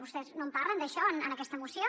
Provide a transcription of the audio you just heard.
vostès no en parlen d’això en aquesta moció